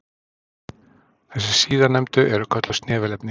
Þessi síðarnefndu eru kölluð snefilefni.